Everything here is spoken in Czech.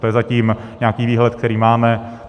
To je zatím nějaký výhled, který máme.